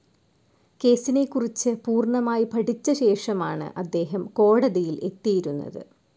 കേസിനെക്കുറിച്ച് പൂർണ്ണമായി പഠിച്ച ശേഷമാണ് അദ്ദേഹം കോടതിയിൽ എത്തിയിരുന്നത്.